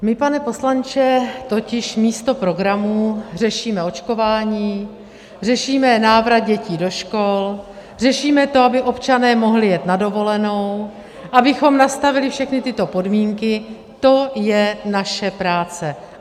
My, pane poslanče, totiž místo programů řešíme očkování, řešíme návrat dětí do škol, řešíme to, aby občané mohli jet na dovolenou, abychom nastavili všechny tyto podmínky - to je naše práce.